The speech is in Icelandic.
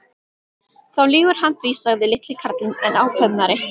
Þá lýgur hann því sagði litli karlinn enn ákveðnari.